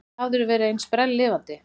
Aldrei hafðirðu verið eins sprelllifandi.